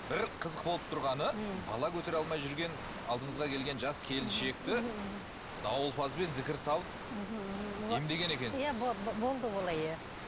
бір қызық болып тұрғаны ммм бала көтере алмай жүрген алдыңызға келген жас келіншекті дауылпазбен зікір салып мхм мхм емдеген екенсіз иә болды олай иә